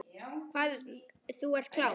Hvað þú ert klár.